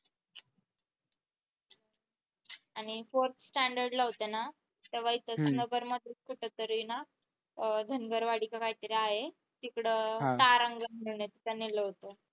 आणि forth standard ला होते ना तेव्हा इथेच नगर मध्येच कुठेतरी ना अह धनगरवाडी काहीतरी आहे तिकडं तारांगण ला नेलं होत.